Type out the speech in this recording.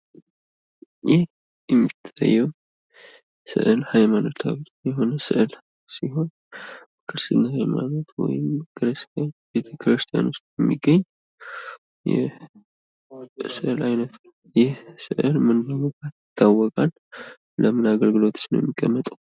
ይህ የሚታየው ስአል ሃይማኖታዊ ስዕል ሲሆን ክርስትና ሃይማሮት ቤተክርስትያን ዉስጥ የሚገኝ ነው። ይህ ለንም ቤተ ክርስትያን ውስጥ የቀመጣል?